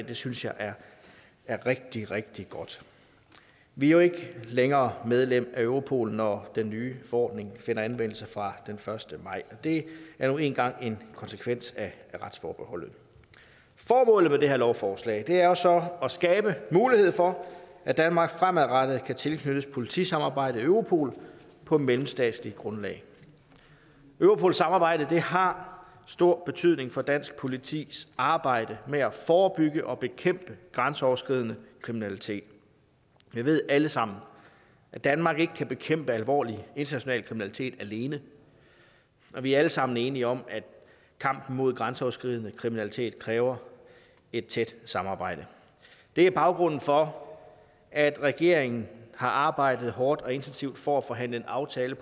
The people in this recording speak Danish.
det synes jeg er rigtig rigtig godt vi er jo ikke længere medlem af europol når den nye forordning finder anvendelse fra den første maj og det er nu engang en konsekvens af retsforbeholdet formålet med det her lovforslag er så at skabe mulighed for at danmark fremadrettet kan tilknyttes politisamarbejdet i europol på et mellemstatsligt grundlag europol samarbejdet har stor betydning for dansk politis arbejde med at forebygge og bekæmpe grænseoverskridende kriminalitet vi ved alle sammen at danmark ikke kan bekæmpe alvorlig international kriminalitet alene og vi er alle sammen enige om at kampen mod grænseoverskridende kriminalitet kræver et tæt samarbejde det er baggrunden for at regeringen har arbejdet hårdt og intensivt for at få forhandlet en aftale